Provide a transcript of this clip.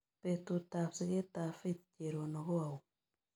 Betutap sigetap Faith cherono ko au